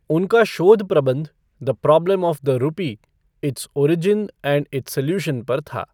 उनका शोध प्रबंध 'the problem of the rupee its origin and its solution' पर था।